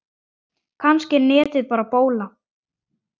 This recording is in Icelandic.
Kannski er netið bara bóla.